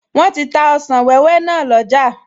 Wọ́n ti ta ọsàn wẹ́wẹ́ náà lọ́jà